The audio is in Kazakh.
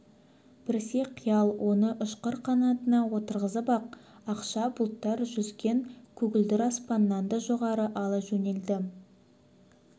біресе қиял оны ұшқыр қанатына отырғызып ап ақша бұлттар жүзген көгілдір аспаннан да жоғары ала жөнеледі